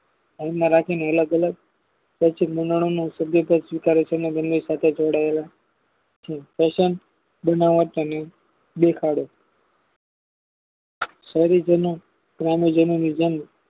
આવુનમાં રાખીને અલગ અલગ પશ્ચિમ બંગલાની સભ્યદાર સ્વીકારે છે તેના દરની સાથે જોડાયેલા છે કોઈ જાણો ગ્રામ્ય જીવનની જેમ